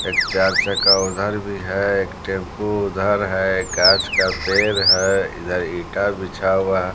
एक चार चक्का उधर भी है एक टेंपू उधर है कांच का पेर है इधर ईटा बिछा हुआ--